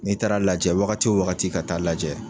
N'i taara lajɛ wagati o wagati ka taa lajɛ.